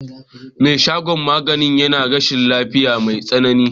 Me shagon magani yana rashin lafiya mai tsanani.